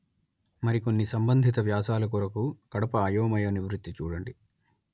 మరికొన్ని సంబంధిత వ్యాసాల కొరకు కడప అయోమయ నివృత్తి చూడండి